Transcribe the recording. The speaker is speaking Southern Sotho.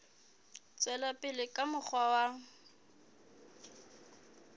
tswela pele ka mokgwa wa